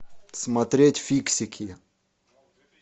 смотреть фиксики